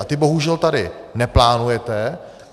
A ty bohužel tady neplánujete.